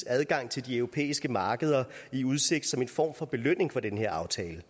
adgangen til de europæiske markeder i udsigt som en form for belønning for den her aftale